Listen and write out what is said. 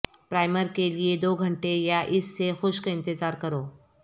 primer کے لئے دو گھنٹے یا اس سے خشک انتظار کرو